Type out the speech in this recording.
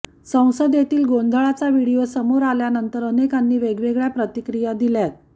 संसदेतील गोंधळाचा व्हिडिओ समोर आल्यानंतर अनेकांनी वेगवेगळ्या प्रतिक्रिया दिल्यात